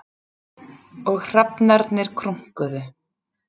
Og hrafnarnir krunkuðu.